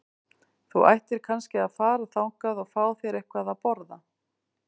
Þú ættir kannski að fara þangað og fá þér eitthvað að borða.